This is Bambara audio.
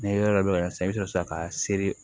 Ni ye yɔrɔ dɔ yira i bɛ sɔrɔ ka seri